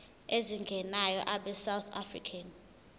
ezingenayo abesouth african